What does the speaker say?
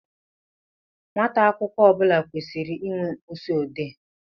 Nwata akwụkwọ ọbula kwesiri ịnwe mkpịsị odee.